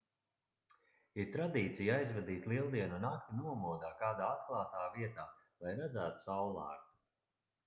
ir tradīcija aizvadīt lieldienu nakti nomodā kādā atklātā vietā lai redzētu saullēktu